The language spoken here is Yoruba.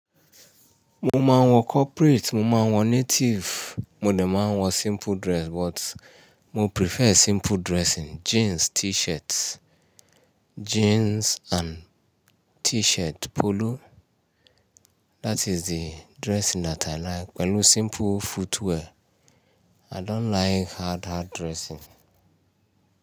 Mo máa ń wọ corporate, mo máa ń wọ native, mo de máa ń wọ simple dress but mo prefer simple dressing. Jeans, t-shirt, jeans and t-shirt, polo. That is the dressing that I like pẹ̀lú simple footwear. I don't like hard, hard dressing.